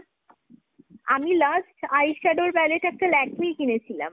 আমি last eye-shadow pallete একটা Lakme র কিনেছিলাম।